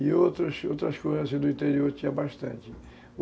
E outras outras do interior tinham bastante.